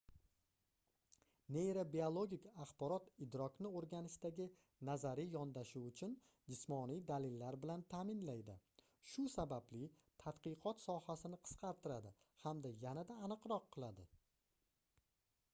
neyrobiologik axborot idrokni oʻrganishdagi nazariy yondashuv uchun jismoniy dalillar bilan taʼminlaydi shu sababli tadqiqot sohasini qisqartiradi hamda yanada aniqroq qiladi